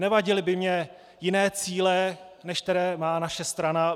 Nevadily by mi jiné cíle, než které má naše strana.